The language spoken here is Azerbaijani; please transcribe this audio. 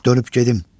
Dönüb gedim.